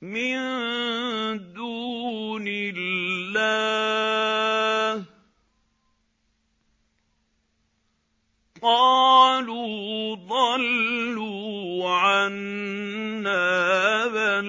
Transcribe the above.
مِن دُونِ اللَّهِ ۖ قَالُوا ضَلُّوا عَنَّا بَل